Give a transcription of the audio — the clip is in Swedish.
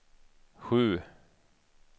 sju